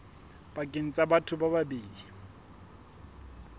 pakeng tsa batho ba babedi